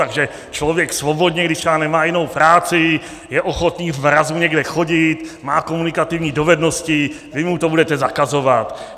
Takže člověk svobodně, když třeba nemá jinou práci, je ochotný v mrazu někde chodit, má komunikativní dovednosti, vy mu to budete zakazovat.